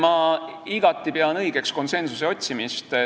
Ma pean igati õigeks konsensuse otsimist.